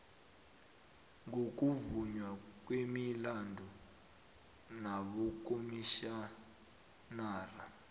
ngokuvunywa kwemilandu nabokomitjhinara